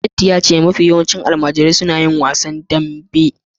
Datti ya ce mafi yawanci almajirai ne suke yin wasan damben gargajiya